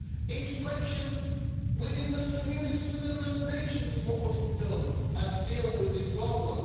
No, integration within those communities, within those nations, is what must be done to deal with this problem.